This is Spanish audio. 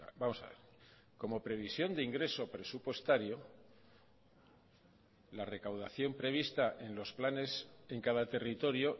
vamos a ver como previsión de ingreso presupuestario la recaudación prevista en los planes en cada territorio